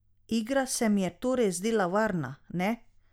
Igra se mi je torej zdela varna, ne?